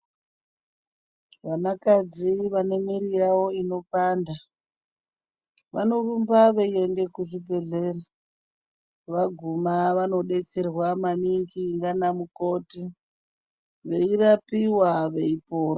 Vanakadzi vanemwiri yavo inopanda, vanorumba veiende kuzvibhedhlera. Vaguma vanobetserwa maningi ndiamukoti veirapiva veipora.